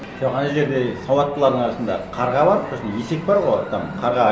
жоқ ана жерде сауаттылардың арасында қарға бар сосын есек бар ғой там қарға